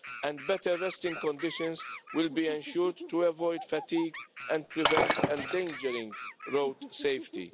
and better resting conditions will be ensured to avoid fatigue and prevent endangering road safety.